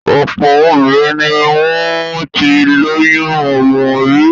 Ọ̀pọ̀ obìnrin ni wọ́n ti lóyún ọmọ rí.